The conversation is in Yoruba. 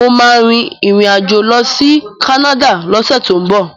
Mo ma rìn rìn àjò lọ sí Canada lọ́sẹ̀ tó ń bọ̀